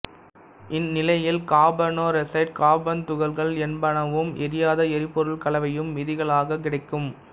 இந்நிலையில் carbon monoxide carbon துகள்கள் என்பனவும் எரியாத எரிபொருள் கலவையும் மீதிகளாகக் கிடைக்கும்